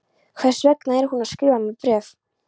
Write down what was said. Hvers vegna er hún að skrifa mér bréf?